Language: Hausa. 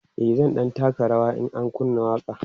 e zan ɗan taka rawa in an kunna waƙa